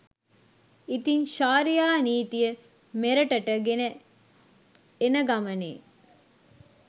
ඉතින් ශාරියා නීතිය මෙරටට ගෙන එන ගමනේ